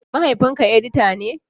Mahaifinka edita ne?